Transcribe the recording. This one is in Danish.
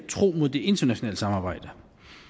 tro mod det internationale samarbejde